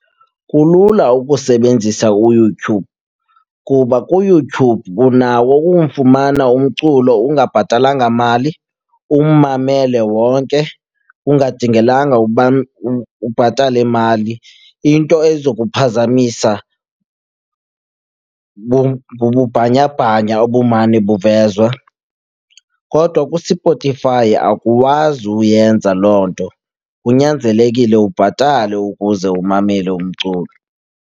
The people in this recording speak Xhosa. Kulula ukusebenzisa uYouTube kuba kuYouTube unawo ukumfumana umculo ungabhatalanga mali, ummamele wonke kungadingelanga uba ubhatale mali. Into eza kuphazamisa ngububhanyabhanya obumane buvezwa. Kodwa kuSpotify akuwazi uyenza loo nto, kunyanzelekile ubhatale ukuze umamele umculo.